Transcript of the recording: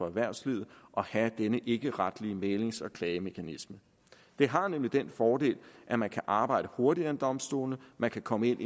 erhvervslivet at have denne ikkeretlige mæglings og klagemekanisme det har nemlig den fordel at man kan arbejde hurtigere end domstolene man kan komme